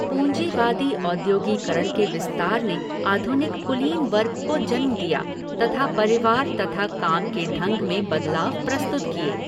पूँजीवादी औद्योगीकरण के विस्तार ने आधुनिक कुलीन वर्ग को जन्म दिया तथा परिवार तथा काम के ढंग में बदलाव प्रस्तुत किए।